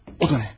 O da nə?